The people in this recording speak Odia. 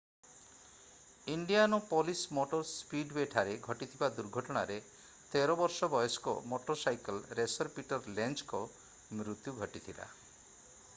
ଇଣ୍ଡିଆନାପଲିସ୍ ମୋଟର୍ ସ୍ପୀଡ୍‌ୱେଠାରେ ଘଟିଥିବା ଦୁର୍ଘଟଣାରେ 13 ବର୍ଷ ବୟସ୍କ ମୋଟରସାଇକଲ୍ ରେସର୍ ପିଟର୍ ଲେଞ୍ଜଙ୍କ ମୃତ୍ୟୁ ଘଟିଥିଲା।